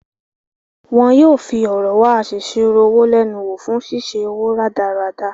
Wọ́n yóò fi ọ̀rọ̀ wá asèsirò owó lẹ́nu wo fún ṣíṣe owó rádaràda.